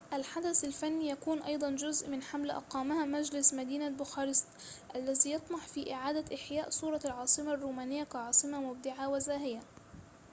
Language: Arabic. الحدث الفني يكون أيضاً جزء من حملة أقامها مجلس مدينة بوخارست الذي يطمح في إعادة إحياء صورة العاصمة الرومانية كعاصمة مبدعة وزاهية